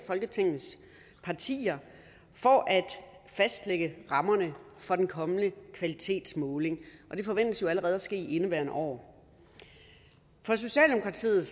folketingets partier for at fastlægge rammerne for den kommende kvalitetsmåling det forventes jo allerede at ske i indeværende år for socialdemokratiet